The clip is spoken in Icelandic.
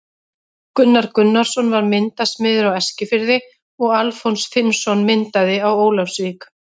Gunnar Gunnarsson var myndasmiður á Eskifirði og Alfons Finnsson myndaði á Ólafsvík.